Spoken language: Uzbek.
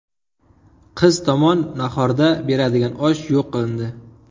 Qiz tomon nahorda beradigan osh yo‘q qilindi.